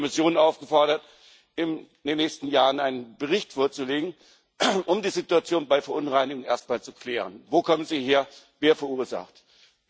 Deshalb ist die Kommission aufgefordert, in den nächsten Jahren einen Bericht vorzulegen, um die Situation bei Verunreinigungen erst mal zu klären Wo kommen sie her, wer verursacht sie?